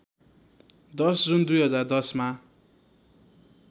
१० जुन २०१०मा